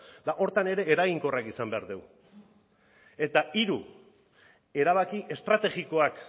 eta horretan ere eraginkorrak izan behar dugu eta hiru erabaki estrategikoak